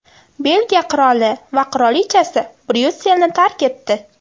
Belgiya qiroli va qirolichasi Bryusselni tark etdi.